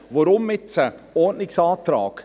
Warum jetzt einen Ordnungsantrag?